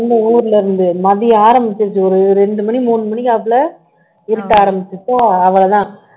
வந்தேன் ஊர்ல இருந்து மதியம் ஆரம்பிச்சிருச்சு ஒரு ரெண்டு மணி மூணு மணிக்காப்புல இருட்ட ஆரம்பிச்சுருச்சா அவ்வளவுதான்